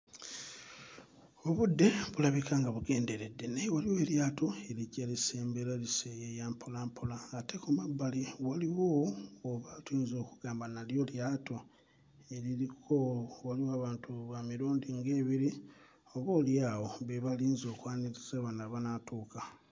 Obudde bulabika nga bugenderedde naye waliwo eryato erijja lisembera liseeyeeya lisembera mpola mpola ate ku mabbali waliwo obwa tuyinza okugamba nalyo lyato waliwo abantu ba mirundi nga ebiri oboolyawo be balinze okwaniriza bano abanaatuuka.